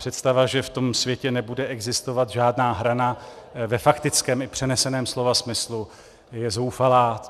Představa, že v tom světě nebude existovat žádná hrana ve faktickém i přeneseném slova smyslu, je zoufalá.